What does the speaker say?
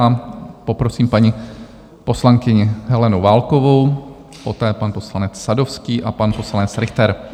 A poprosím paní poslankyni Helenu Válkovou, poté pan poslanec Sadovský a pan poslanec Richter.